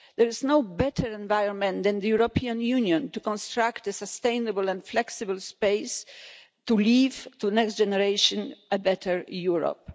There is no better environment than the European Union to construct a sustainable and flexible space to leave to the next generation a better Europe.